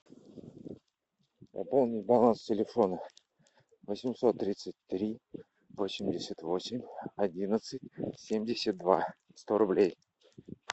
пополнить баланс телефона восемьсот тридцать три восемьдесят восемь одиннадцать семьдесят два сто рублей